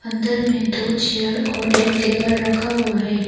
अंदर में दो चेयर और एक टेबल रखा हुआ है।